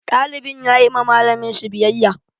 Ɗalibin ya yi ma Mallamin shi biyayya.